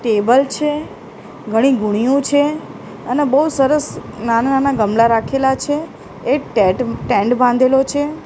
Table છે ઘની ગુનીઓ છે અને બહુ સરસ નાના-નાના ગમલા રાખેલા છે એક ટેટ સ્ટેન્ડ બાંધેલો છે.